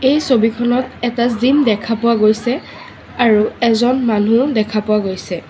এই ছবিখনত এটা জিম দেখা পোৱা গৈছে আৰু এজন মানুহ দেখা পোৱা গৈছে।